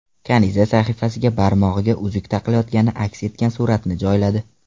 Kaniza sahifasiga barmog‘iga uzuk taqilayotgani aks etgan suratni joyladi.